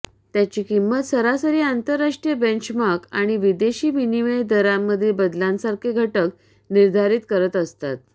त्याची किंमत सरासरी आंतरराष्ट्रीय बेंचमार्ख आणि विदेशी विनिमय दरामधील बदलांसारखे घटक निर्धारित करत असतात